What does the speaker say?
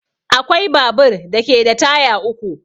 Akwai babur da ke da taya uku